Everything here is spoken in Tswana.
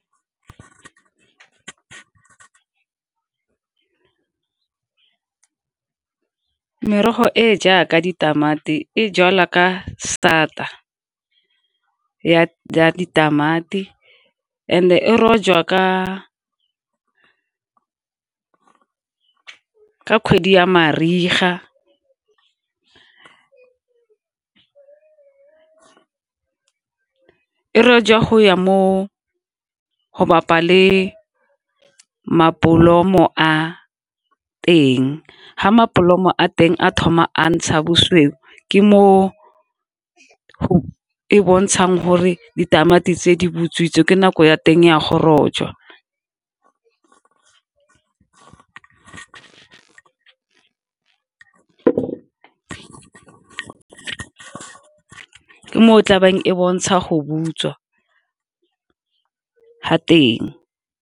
Merogo e jaaka ditamati e jalwa ka sata ya ditamati and-e e jwa ka ka kgwedi ya mariga e rojwa go ya mo go bapa le mabolomo a teng. Fa mabolomo a teng a thoma a ntsha bosweu ke mo e bontshang gore ditamati tse di butswitse ke nako ya teng ya go rojwa, ke moo tlabeng e bontsha go butswa ga teng.